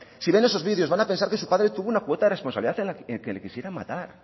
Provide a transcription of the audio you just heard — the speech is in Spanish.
si ven esos vídeos van a pensar que su padre tuvo una cuota de responsabilidad en que le quisieran matar